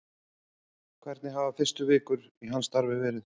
Hvernig hafa fyrstu vikur hans í starfi verið?